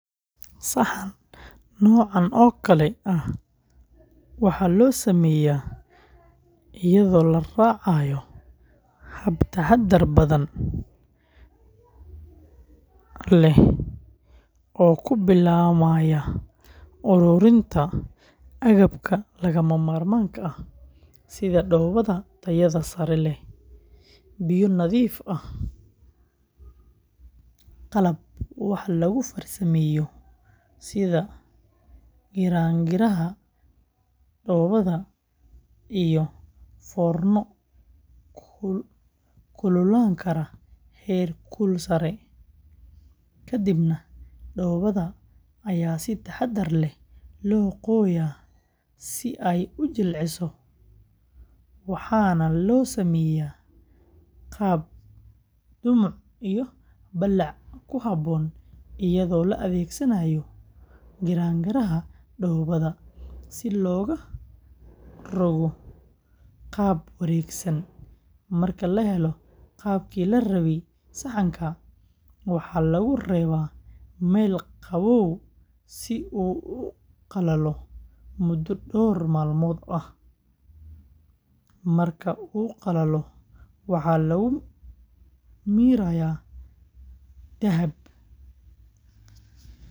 Saxan noocan oo kale ah waxaa loo sameeyaa iyadoo la raacayo hab taxaddar badan leh oo ku bilaabmaya uruurinta agabka lagama maarmaanka ah sida dhoobada tayada sare leh, biyo nadiif ah, qalab wax lagu farsameeyo sida giraangiraha dhoobada, iyo foorno kululaan kara heer kul sare, kadibna dhoobada ayaa si taxaddar leh loo qooyaa si ay u jilciso, waxaana loo sameeyaa qaab dhumuc iyo ballac ku habboon iyadoo la adeegsanaayo giraangiraha dhoobada si loogu rogo qaab wareegsan, marka la helo qaabkii la rabay saxanka, waxaa lagu reebaa meel qabow si uu u qalalo muddo dhowr maalmood ah, marka uu qalalo waxa lagu mariyaa dahaadh.